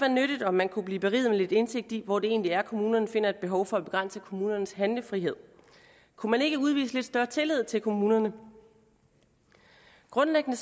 nyttigt om man kunne blive beriget med lidt indsigt i hvor det egentlig er kommunerne finder et behov for at begrænse kommunernes handlefrihed kunne man ikke udvise lidt større tillid til kommunerne grundlæggende